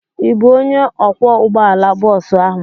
Ị bụ onye ọkwọ ụgbọala bọọsu ahụ?